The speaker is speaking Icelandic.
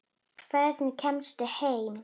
Hvernig kemstu heim?